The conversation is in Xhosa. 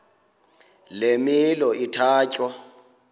le milo ithatya